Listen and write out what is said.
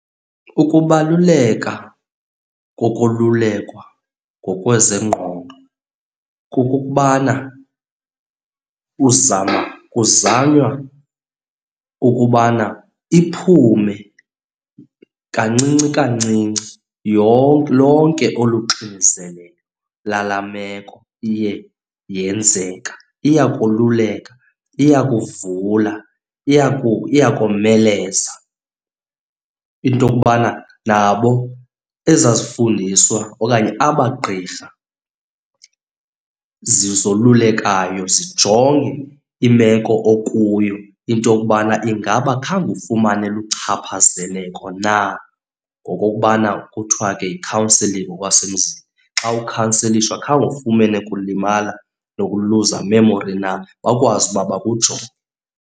Ukubaluleka kokululekwa ngokwezengqondo kukukubana uzama, kuzanywa ukubana iphume kancinci kancinci yonke, lonke olu xinzelelo lalaa meko iye yenzeka. Iyakoluleka, iyakuvula, iyakomeleza into yokubana nabo ezaa zifundiswa okanye aba gqirha zolulekayo zijonge imeko okuyo into yokubana ingaba khange ufumane luchaphazeleko na, ngokokubana kuthiwa ke yi-counselling ngokwasemzini. Xa ukhanselishwa khange ufumene kulimala nokuluza i-memory na, bakwazi uba bakujonge.